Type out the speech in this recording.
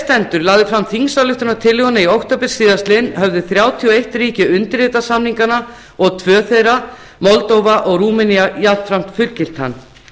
stendur lagði fram þingsályktunartillöguna í október síðastliðinn höfðu þrjátíu og eitt ríki undirritað samninginn og tvö þeirra moldóva og rúmenía jafnframt fullgilt hann